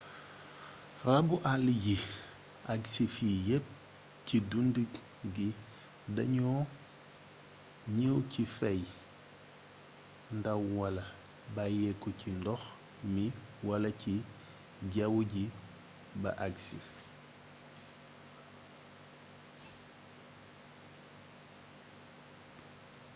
rabu àll yi agsi fii yépp ci dun gi dañoo ñëw ci feey ndaw wala bàyyeeku ci ndox mi wala ci jawwu ji ba agsi